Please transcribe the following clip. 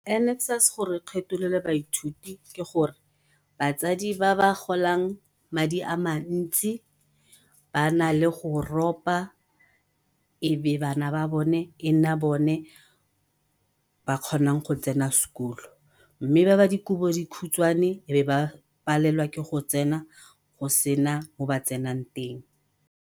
NSFAS gore e kgetholole baithuti ke gore batsadi ba ba golang madi a mantsi ba nale go ropa ebe bana ba bone e nna bone ba kgonang go tsena sekolo, mme ba ba dikobo di khutshwane e be ba palelwa ke go tsena go sena mo ba tsenang teng.